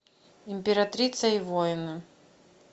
императрица и воины